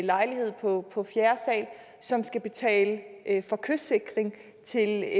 lejlighed på på fjerde sal som skal betale for kystsikring til